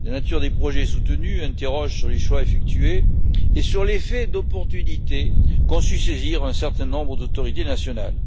La nature des projets soutenus interpelle sur les choix effectués et sur l'effet d'aubaine qu'ont su saisir un certain nombre d'autorités nationales.